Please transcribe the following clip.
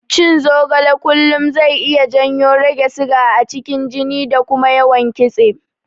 Cin zogale kullum zai iya janyo rage siga a cikin jini da kuma yawan kitse.